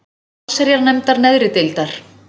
allsherjarnefndar neðri deildar.